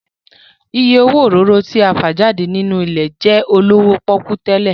Ìyè owó òróró tí a fà jáde nínú ilẹ̀ jẹ́ olówó pọ́kú tẹ́lẹ̀